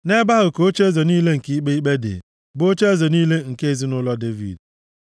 Nʼebe ahụ ka ocheeze niile nke ikpe ikpe dị, bụ ocheeze niile nke ezinaụlọ Devid.